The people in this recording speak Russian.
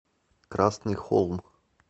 красный холм